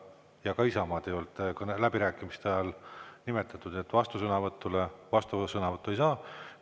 Ja ka Isamaad ei olnud läbirääkimiste ajal nimetatud, vastusõnavõttu ei saa.